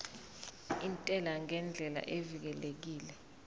intela ngendlela evikelekile